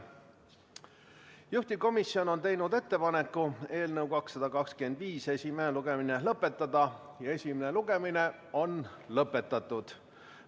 Juhtivkomisjon on teinud ettepaneku eelnõu 225 esimene lugemine lõpetada ja esimene lugemine on lõpetatud.